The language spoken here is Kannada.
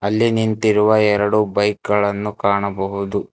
ಇಲ್ಲಿ ನಿಂತಿರುವ ಎರಡು ಬೈಕ್ ಗಳನ್ನು ಕಾಣಬಹುದು.